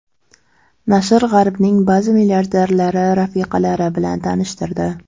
Nashr G‘arbning ba’zi milliarderlari rafiqalari bilan tanishtirdi.